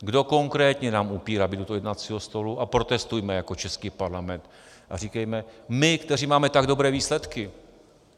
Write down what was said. Kdo konkrétně nám upírá být u toho jednacího stolu, a protestujme jako český Parlament a říkejme: My, kteří máme tak dobré výsledky!